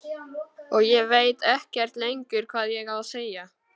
Og ég veit ekkert lengur hvað ég á að segja.